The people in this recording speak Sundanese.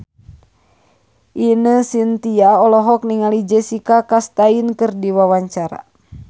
Ine Shintya olohok ningali Jessica Chastain keur diwawancara